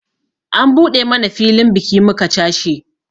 An buɗe mana filin biki muka cashe